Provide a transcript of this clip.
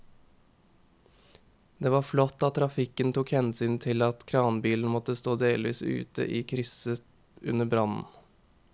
Det var flott at trafikken tok hensyn til at kranbilen måtte stå delvis ute i krysset under brannen.